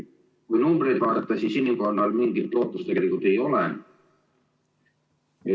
Kui numbreid vaadata, siis inimkonnal mingit lootust tegelikult ei ole.